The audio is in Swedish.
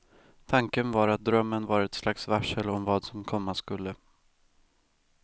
Tanken var att drömmen var ett slags varsel om vad som komma skulle.